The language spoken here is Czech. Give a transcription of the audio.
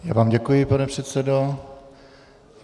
Já vám děkuji, pane předsedo.